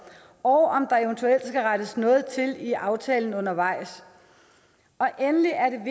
og om der eventuelt skal rettes noget til i aftalen undervejs endelig er